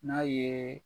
N'a ye